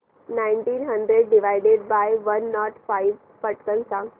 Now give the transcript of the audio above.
nineteen hundred divided by one nought five पटकन सांग